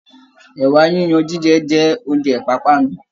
Ẹ̀wà yiyan jíjẹ jẹ́ oúnjẹ ìpápánu